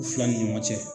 U fila ni ɲɔgɔn cɛ